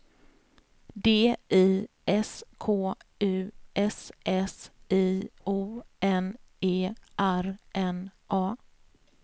D I S K U S S I O N E R N A